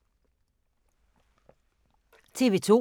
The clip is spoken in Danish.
TV 2